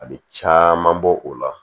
A bɛ caman bɔ o la